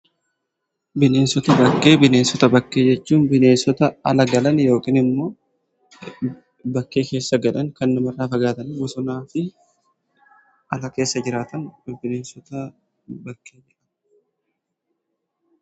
Bineensota bakkee: Bineensota bakkee jechuun bineensota ala galan yookiin immoo bakkee keessa galan kan namarraa fagaatanii bosonaa fi ala keessa jiraatan bineensota bakkee jedhamu.